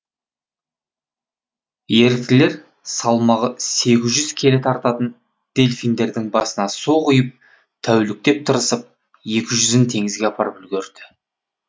еріктілер салмағы сегіз жүз келі тартатын делфиндердің басына су құйып тәуліктеп тырысып екі жүзін теңізге апарып үлгерді